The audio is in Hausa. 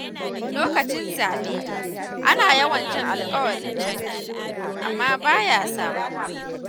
Lokacin zaɓe, ana yawan jin alƙawarin canji, amma baya samuwa.